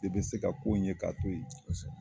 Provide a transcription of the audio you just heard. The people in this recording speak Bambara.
E bɛ se ka ko in ye k'a to ye.